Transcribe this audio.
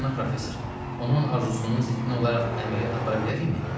Cənab professor, onun arzusunun ziddinə olaraq əməliyyat apara bilərikmi?